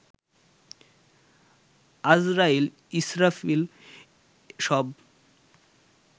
আজরাইল ইসরাফিল সব